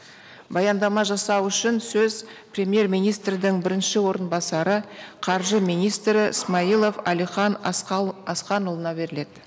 баяндама жасау үшін сөз премьер министрдің бірінші орынбасары қаржы министрі смайылов әлихан асқанұлына беріледі